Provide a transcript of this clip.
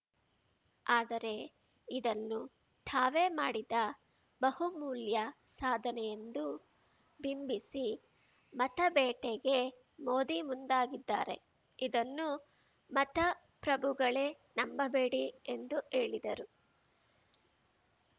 ಆದರೆ ಇದನ್ನು ತಾವೇ ಮಾಡಿದ ಬಹುಮೂಲ್ಯ ಸಾಧನೆಯೆಂದು ಬಿಂಬಿಸಿ ಮತಬೇಟೆಗೆ ಮೋದಿ ಮುಂದಾಗಿದ್ದಾರೆ ಇದನ್ನು ಮತಪ್ರಭುಗಳೇ ನಂಬಬೇಡಿ ಎಂದು ಹೇಳಿದರು